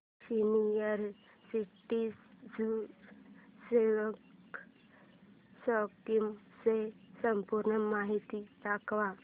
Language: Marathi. सीनियर सिटिझन्स सेविंग्स स्कीम ची संपूर्ण माहिती दाखव